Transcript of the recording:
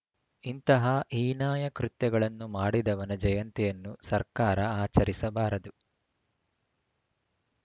ಇಂತಹ ಹೀನಾಯ ಕೃತ್ಯಗಳನ್ನು ಮಾಡಿದವನ ಜಯಂತಿಯನ್ನು ಸರ್ಕಾರ ಆಚರಿಸಬಾರದು